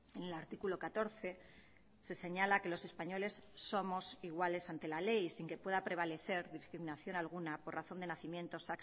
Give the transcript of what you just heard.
en el artículo catorce se señala que los españoles somos iguales ante la ley sin que pueda prevalecer discriminación alguna por razón de nacimientos